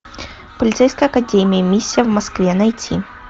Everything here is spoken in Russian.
полицейская академия миссия в москве найти